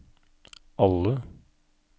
alle